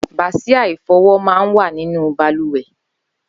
Bàsiá ifọwọ̀ mà n wà ninú bàlùwè